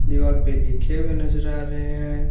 दिवाल पे लिखे हुए नजर आ रहे हैं।